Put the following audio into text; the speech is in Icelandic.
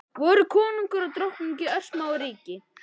Voru kóngur og drottning í örsmáu ríki.